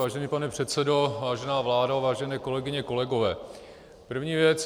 Vážený pane předsedo, vážená vládo, vážené kolegyně, kolegové - první věc.